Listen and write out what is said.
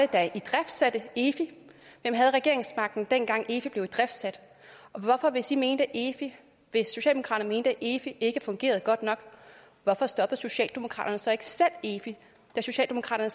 der idriftsatte efi hvem havde regeringsmagten dengang efi blev idriftsat og hvis socialdemokraterne mente at efi ikke ikke fungerede godt nok hvorfor stoppede socialdemokraterne så ikke selv efi da socialdemokraterne